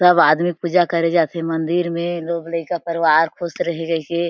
सब आदमी पूजा करे जाथे मंदिर मे लोग लईका परिवार खुश रही कई के--